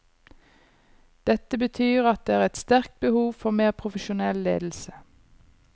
Dette betyr at det er et sterkt behov for mer profesjonell ledelse.